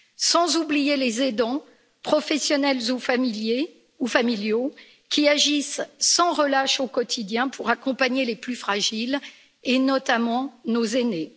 Sans oublier les aidants, professionnels ou familiaux, qui agissent sans relâche au quotidien pour accompagner les plus fragiles et notamment nos aînés.